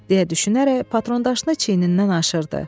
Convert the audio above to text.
Deyə düşünərək patrondaşını çiynindən aşırdı.